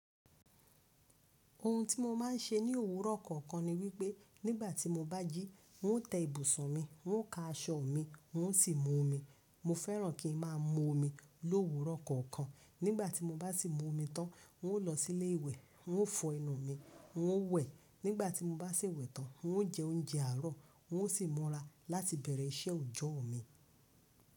Ohun tí mo máa ń ṣe ní òwúrọ̀ kọ̀ọ̀kan ni wípé nígbà tí mo bá jí, n ó tẹ́ ibùsọ̀n mi, n ó ka aṣọ mi, n ó sì mú omi. Mo fẹ́ràn kí ń máa mú omi lówúrọ̀ kọ̀ọ̀kan. Nígbà tí mo bá sì mú omi tán, n ó lọ sí ilé ìwẹ̀, n ó fọ ẹnu mi, n ó wẹ̀. Nígbà tí mo bá sì wẹ̀ tán, n ó jẹ oúnjẹ àárọ̀, n ó sì mọ́ra láti bẹ̀rẹ̀ ìṣẹ́ oòjọ́ mi.